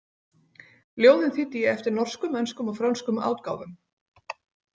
Ljóðin þýddi ég eftir norskum, enskum og frönskum átgáfum.